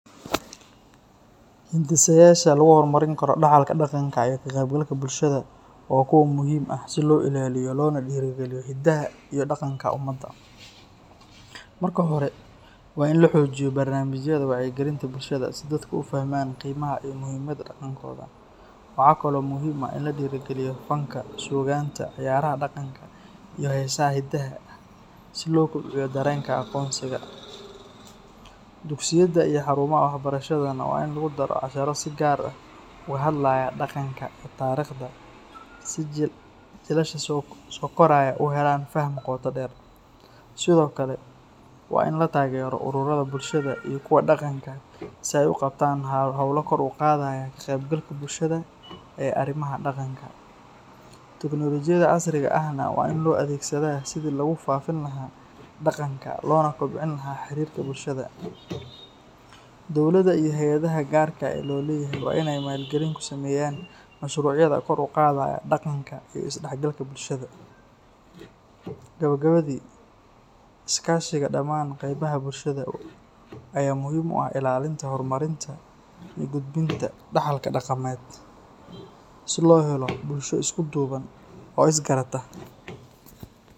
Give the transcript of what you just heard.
Hindisayaasha lagu horumarin karo dhaxalka dhaqanka iyo ka qaybgalka bulshada waa kuwo muhiim ah si loo ilaaliyo loona dhiirrigeliyo hiddaha iyo dhaqanka ummadda. Marka hore, waa in la xoojiyo barnaamijyada wacyigelinta bulshada si dadku u fahmaan qiimaha iyo muhiimadda dhaqankooda. Waxa kale oo muhiim ah in la dhiirrigeliyo fanka, suugaanta, ciyaaraha dhaqanka, iyo heesaha hidaha ah si loo kobciyo dareenka aqoonsiga. Dugsiyada iyo xarumaha waxbarashadana waa in lagu daro casharro si gaar ah uga hadlaya dhaqanka iyo taariikhda si jiilasha soo koraya u helaan faham qoto dheer. Sidoo kale, waa in la taageero ururrada bulshada iyo kuwa dhaqanka si ay u qabtaan hawlo kor u qaadaya ka qaybgalka bulshada ee arrimaha dhaqanka. Teknolojiyadda casriga ahna waa in loo adeegsadaa sidii lagu faafin lahaa dhaqanka loona kobcin lahaa xiriirka bulshada. Dowladda iyo hay’adaha gaarka loo leeyahay waa inay maalgelin ku sameeyaan mashruucyada kor u qaadaya dhaqanka iyo isdhexgalka bulshada. Gabagabadii, iskaashiga dhammaan qaybaha bulshada ayaa muhiim u ah ilaalinta, horumarinta iyo gudbinta dhaxalka dhaqameed si loo helo bulsho isku duuban oo isgarata.